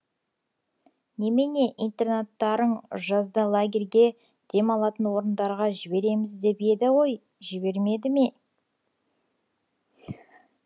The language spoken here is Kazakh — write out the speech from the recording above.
немене интернаттарың жазда лагерьге дем алатын орындарға жібереміз деп еді ғой жібермеді ме